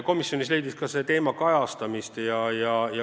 Komisjonis leidis ka see teema kajastamist.